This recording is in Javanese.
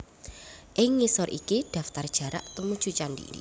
Ing ngisor iki daftar jarak tumuju candhi